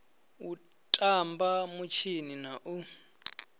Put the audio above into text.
u tamba mitshini na u